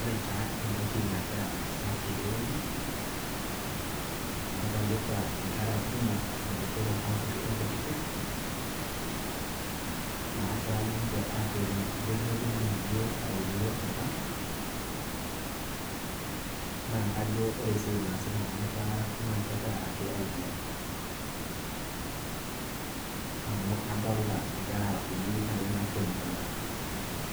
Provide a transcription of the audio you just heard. Ore taa entoki nagira aasa teneweji ,nadolita nkera botorok onkutitik, naagira niche atoni ijo kitodolu auluo enkang ,naa kajo ore esiai naaasita kuna kera naa kegira ake aiguran. amu adolita nkera are kutitik naatonita